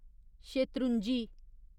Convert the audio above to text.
Shetrunji